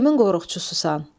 Kimin qorxçususan?